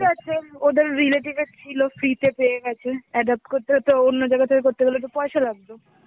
ওদের relative এর ছিল, free তে পেয়ে গেছে. adopt করতে তো অন্য জায়গা থেকে করতে গেলে তো পয়সা লাগত.